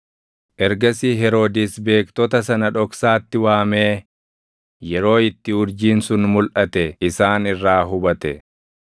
Ergasii Heroodis beektota sana dhoksaatti waamee yeroo itti urjiin sun mulʼate isaan irraa hubate.